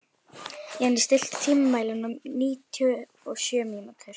Jenni, stilltu tímamælinn á níutíu og sjö mínútur.